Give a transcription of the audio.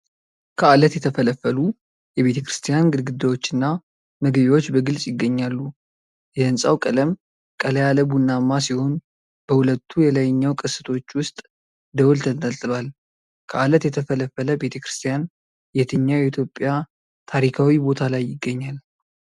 ከዓለት የተፈለፈሉ የቤተ ክርስቲያን ግድግዳዎችና መግቢያዎች በግልጽ ይገኛሉ። የህንጻው ቀለም ቀላ ያለ ቡናማ ሲሆን በሁለቱ የላይኛው ቅስቶች ውስጥ ደወል ተንጠልጥሏል። ከዓለት የተፈለፈለ ቤተ ክርስቲያን የትኛው የኢትዮጵያ ታሪካዊ ቦታ ላይ ይገኛል?